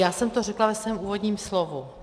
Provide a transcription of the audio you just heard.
Já jsem to řekla ve svém úvodním slovu.